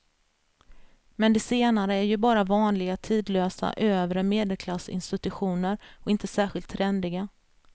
Men de senare är ju bara vanliga tidlösa övre medelklassinstitutioner och inte särskilt trendiga.